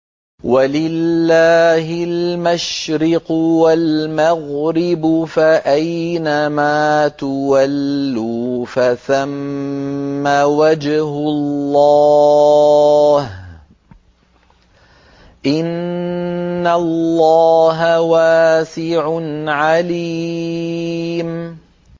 وَلِلَّهِ الْمَشْرِقُ وَالْمَغْرِبُ ۚ فَأَيْنَمَا تُوَلُّوا فَثَمَّ وَجْهُ اللَّهِ ۚ إِنَّ اللَّهَ وَاسِعٌ عَلِيمٌ